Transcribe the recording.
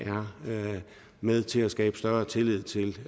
er med til at skabe større tillid til